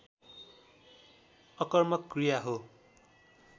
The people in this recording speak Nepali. अकर्मक क्रिया हो